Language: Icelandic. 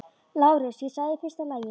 LÁRUS: Ég sagði: í fyrsta lagi.